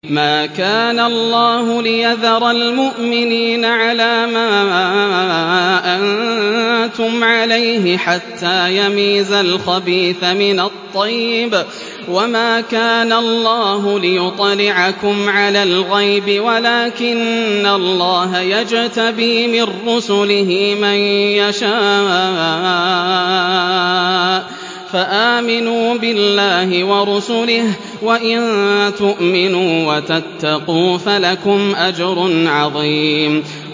مَّا كَانَ اللَّهُ لِيَذَرَ الْمُؤْمِنِينَ عَلَىٰ مَا أَنتُمْ عَلَيْهِ حَتَّىٰ يَمِيزَ الْخَبِيثَ مِنَ الطَّيِّبِ ۗ وَمَا كَانَ اللَّهُ لِيُطْلِعَكُمْ عَلَى الْغَيْبِ وَلَٰكِنَّ اللَّهَ يَجْتَبِي مِن رُّسُلِهِ مَن يَشَاءُ ۖ فَآمِنُوا بِاللَّهِ وَرُسُلِهِ ۚ وَإِن تُؤْمِنُوا وَتَتَّقُوا فَلَكُمْ أَجْرٌ عَظِيمٌ